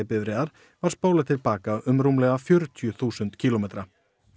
bifreiðar var spólað til baka um rúmlega fjörutíu þúsund kílómetra